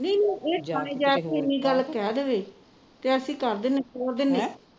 ਨਹੀ ਇਹ ਥਾਣੇ ਜਾ ਕੇ ਇੰਨੀ ਗੱਲ ਕਹਿ ਦੇਵੇ ਤੇ ਅਸੀ ਤੋਰ ਦਿੰਦੇ ਹਾਂ